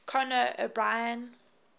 conan o brien